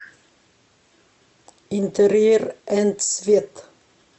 интерьер энд свет